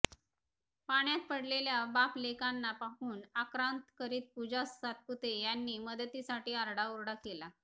पाण्यात पडलेल्या बापलेकांना पाहून आक्रांत करीत पूजा सातपुते यांनी मदतीसाठी आरडाओरडा केला